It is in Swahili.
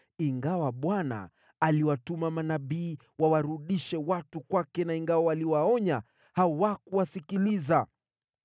Ingawa Bwana aliwatuma manabii wawarudishe watu kwake na ingawa waliwaonya, hawakuwasikiliza.